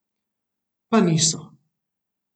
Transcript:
Pa niso.